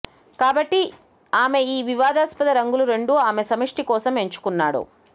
కాబట్టి ఆమె ఈ వివాదాస్పద రంగులు రెండు ఆమె సమిష్టి కోసం ఎంచుకున్నాడు